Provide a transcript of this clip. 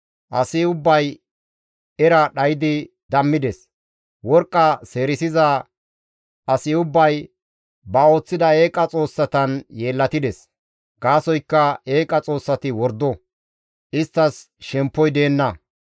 Asi ubbay era dhaydi dammides; worqqa seerisiza asi ubbay ba ooththida eeqa xoossatan yeellatides. Gaasoykka eeqa xoossati wordo; isttas shemppoy deenna.